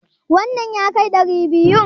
wannan ya kai guda maitan?